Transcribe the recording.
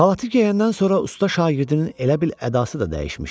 Xalatı geyəndən sonra usta şagirdinin elə bil ədası da dəyişmişdi.